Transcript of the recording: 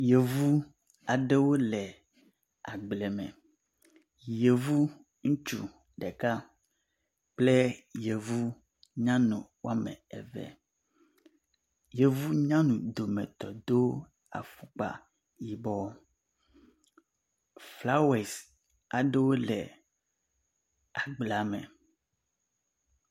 yovu aɖewo le agbleme yovu ŋutsu ɖeka kple yovu nyanu ame eve yovu nyanu dòmetɔ̀ dó afɔkpa yibɔ flawɔes aɖewo le agbleame